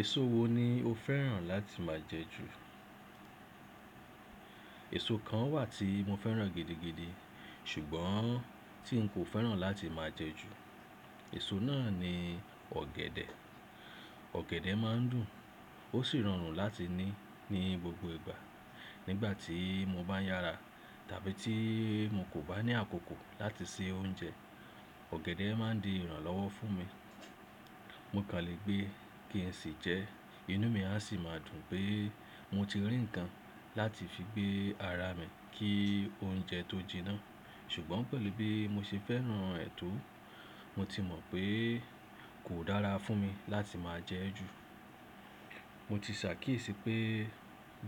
Èso wo ni o fẹ́ràn láti máa jẹ ju? Èso kan wà tí mo fẹ́ràn gidigidi ṣùgbọ́n tí n kò fẹ́ràn láti máa jẹ ju, èso náà ni ọ̀gẹ̀dẹ̀. Ọ̀gẹ̀dẹ̀ má n dùn ó sì rọrùn láti ní ní gbogbo ìgbà. Nígbà tí mo bá yára tàbí tí mo kò bá ní àkókò láti se oúnjẹ, ọ̀gẹ̀dẹ̀ má n di ìrànlọ́wọ́ fún mi. Mo kàn lè gbé kí ẹ sì jẹ, inú mi a sì máa dùn pé mo ti rí nǹkan láti fi gbé ara mi kí oúnjẹ tó jiná. Ṣùgbọ́n pẹ̀lú bí mo ṣe fẹ́ràn ẹ̀ to, mo ti mọ̀ pé kò dára fún mi láti máa jẹ ẹ́ jù. Mo ti ṣàkíyèsí pé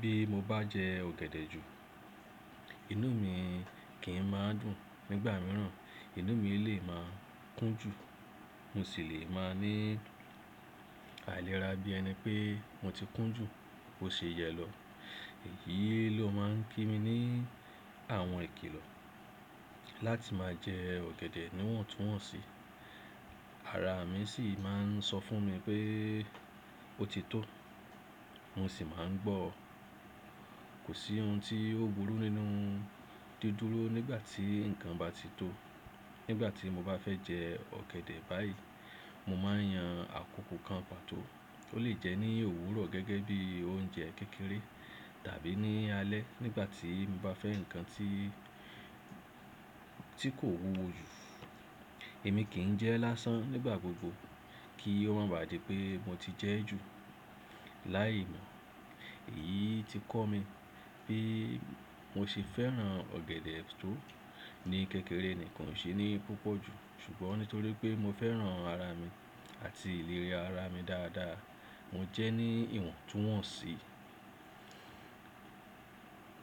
bí mo bá jẹ ọ̀gẹ̀dẹ̀ jù, inú mi kì í máa dùn, nígbà míràn inú mi lè máa kún jù, mo sì lè máa ní àìlera bí ẹni pé mo ti kún jù ó ṣe yẹ lọ. Èyí ló máa n kí mi ní àwọn ìkìlọ̀ láti máa jẹ ọ̀gẹ̀dẹ̀ níwọ̀ntúnwọ̀nsì. Ara mi sì máa n sọ fún mi pé ó ti tó, mo sì máa n gbọ́. Kò sí ohun tí ó burú nínú dúdúró nígbà tí nǹkan bá ti tó. Nígbà tí mo bá fẹ́ jẹ ọ̀gẹ̀dẹ̀ báyìí, mo máa yan àkókò kan pàtó. Ó lè jẹ́ ní òwúrọ̀ gẹ́gẹ́ bí oúnjẹ kékeré tàbí ní alẹ́ nígbà tí mo bá fẹ́ nǹkan tí, tí kò wúwo jù. Èmi kì í jẹ lásán nígbà gbogbo kí ó má bà di pé mo ti jẹ ẹ́ jù láì mọ̀. Èyí ti kọ́ mi pé mo ṣe fẹ́ràn ọ̀gẹ̀dẹ̀ tó ní kékeré nìkan, ò ṣe ní púpọ̀ jù. Ṣùgbọ́n nítorí pé mo fẹ́ràn ara mi àti ìlera ara mi dáadáa, mo jẹ ẹ́ ní ìwọ̀ntúnwọ̀nsì.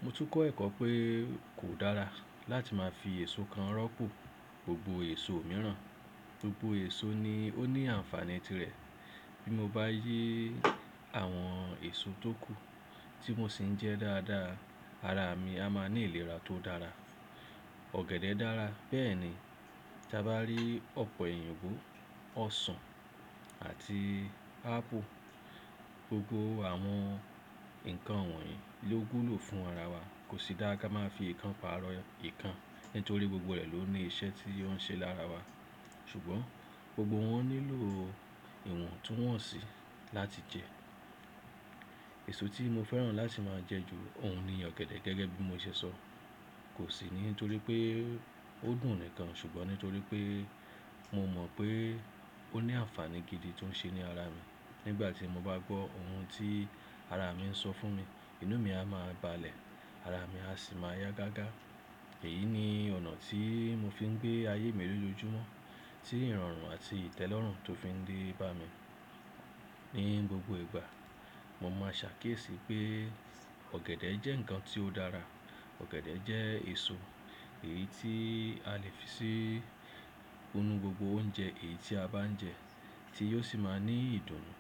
Mo tún kọ́ ẹ̀kọ́ pé kò dára láti máa fi èso kan rọ́pò gbogbo èso mìíràn. Gbogbo èso ni ó ní ànfàní tirẹ̀. Bí mo bá yí àwọn èso tó kù tí mo sì ń jẹ dáadáa, ara mi a máa ní ìlera tó dára. Ọ̀gẹ̀dẹ̀ dára, bẹ́ẹ̀ ni tí a bá rí ọ̀pẹ̀yìnbo, ọsàn àti ápù. Gbogbo àwọn nǹkan wọ̀nyí ló wú lò fún ara wa. Kò sí da ká má fi ìkan pa'rọ̀ ìkan nítorí gbogbo rẹ̀ ló ní iṣẹ́ tí ó ń ṣe lára wa. Ṣùgbọ́n gbogbo wọn nílò ìwọ̀ntúnwọ̀nsì láti jẹ. Èso tí mo fẹ́ràn láti máa jẹ ju òun ni ọ̀gẹ̀dẹ̀ gẹ́gẹ́ bí mo ṣe sọ. Kò sì nítorí pé ó dùn nìkan ṣùgbọ́n nítorí pé mo mọ̀ pé ó ní ànfàní gidi tó ń ṣe ní ara mi. Nígbà tí mo bá gbọ́ ohun tí ara mi ń sọ fún mi, inú mi a máa balẹ̀, ara mi a sì máa yá gágá. Èyí ni ọ̀nà tí mo fi ń gbé ayé mi lé ojúmọ́. Tí ìrọ̀rùn àti ìtẹ́lọ́rùn tó fi ń dé bá mi ní gbogbo ìgbà. Mo máa ṣàkíyèsí pé ọ̀gẹ̀dẹ̀ jẹ́ nǹkan tí ó dára. Ọ̀gẹ̀dẹ̀ jẹ́ èso èyí tí a lè fi sí nínú gbogbo oúnjẹ èyí tí a bá ń jẹ tí yóò sì máa ní ìdùnnú,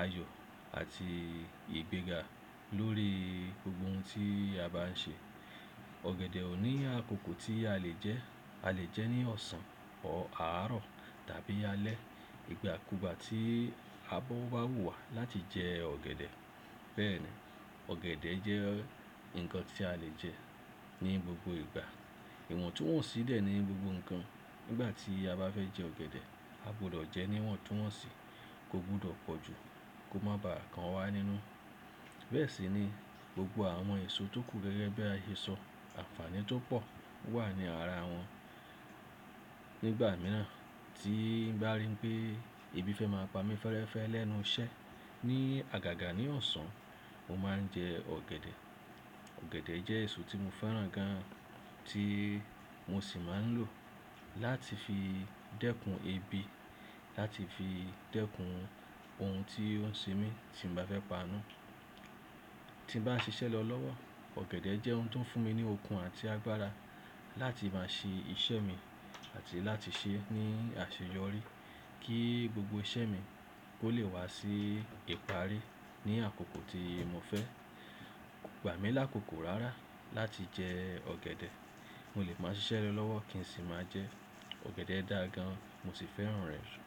ayọ̀ àti ìgbéga lórí gbogbo ohun tí a bá ń ṣe. Ọ̀gẹ̀dẹ̀ ò ní àkókò tí a lè jẹ ẹ́. A lè jẹ ẹ́ ní ọ̀sán ọ̀árọ̀ tàbí alẹ́. Ìgbà kúgbà tí abọ́ bá wù wá láti jẹ ọ̀gẹ̀dẹ̀. Bẹ́ẹ̀ ni ọ̀gẹ̀dẹ̀ jẹ́ nǹkan tí a lè jẹ ní gbogbo ìgbà. Ìwọ̀ntúnwọ̀nsí dẹ̀ ní gbogbo nǹkan. Nígbà tí a bá fẹ́ jẹ ọ̀gẹ̀dẹ̀, a gbọdọ̀ jẹ ẹ́ níwọ̀ntúnwọ̀nsì kó gbọdọ̀ pọ̀ jù kó má bá àkan wá nínú. Bẹ́ẹ̀ sì ni gbogbo àwọn èso tó kù gẹ́gẹ́ bí ààyè sọ. Ànfàní tó pọ̀ wà ní ara wọn. Nígbà míràn tí n bá rí pé ebi fẹ́ máa pa mí fẹ́ẹ́rẹ́fẹ́ lẹ́nu iṣẹ́ ní àgàgà ní ọ̀sán, mo máa ń jẹ ọ̀gẹ̀dẹ̀. Ọ̀gẹ̀dẹ̀ jẹ́ èso tí mo fẹ́ràn gan tí mo sì máa ń lò láti fi dẹ́kun ebi, láti fi dẹ́kun ohun tí ó ń ṣe mí tí mo bá fẹ́ panú. Tí n bá ń ṣiṣẹ́ lọ lọ́wọ́, ọ̀gẹ̀dẹ̀ jẹ́ ohun tó ń fún mi ní okun àti agbára láti máa ṣe iṣẹ́ mi àti láti ṣe é ní àṣeyọrí kí gbogbo iṣẹ́ mi kó lè wá sí ìparí ní àkókò tí mo fẹ́. Kò gbà mí lákòókò rárá láti jẹ ọ̀gẹ̀dẹ̀. Mo lè máa ṣiṣẹ́ lọ lọ́wọ́ kí n sì máa jẹ ẹ́. Ọ̀gẹ̀dẹ̀ dá gan, mo sì fẹ́ràn rẹ̀ jù.